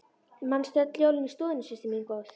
Manstu öll jólin í stofunni systir mín góð.